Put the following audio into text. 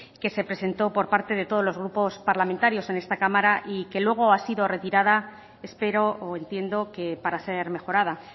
que se presentó por parte de todos los grupos parlamentarios en esta cámara y que luego ha sido retirada espero o entiendo que para ser mejorada